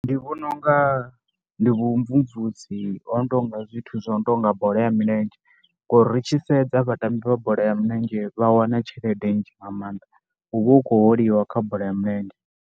Ndi vhona u nga ndi vhumvumvusi ho no tou nga zwithu zwo no tou nga bola ya milenzhe ngori ri tshi sedza vhatambi vha bola ya milenzhe vha wana tshelede nzhi nga maanḓa, hu vha hu khou holiwa kha bola ya milenzhe.